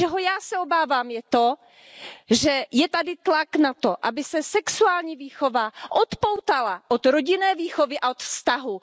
Čeho já se obávám, je to, že je tady tlak na to, aby se sexuální výchova odpoutala od rodinné výchovy a od vztahu.